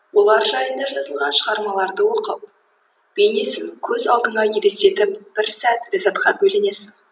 олар жайында жазылған шығармаларды оқып бейнесін көз алдыңа елестетіп бір сәт ләззатқа бөленесің